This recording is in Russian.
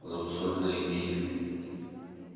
замусоленные и